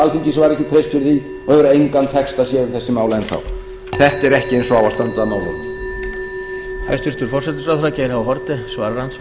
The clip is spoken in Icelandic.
alþingis var ekki treyst fyrir því og hefur engan texta séð um þessi mál enn þá þetta er ekki eins og á að standa á málunum